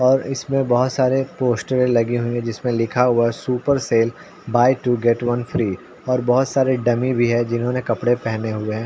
और इसमें बहुत सारे पोस्टरे लगी हुई हैं जिसमें लिखा हुआ है super sale buy two get one free और बहोत सारे डम्मी भी हैं जिन्होंने कपड़े पहने हुए है।